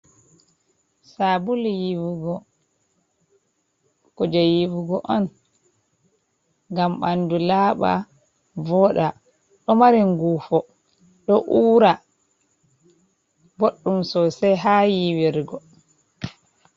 Saabulu yiiwugo, kuuje yiiwugo on ngam ɓandu laaɓa, vooɗa. Ɗo mari nguufo, ɗo uura, boɗɗum soosai ha yiiwirgo.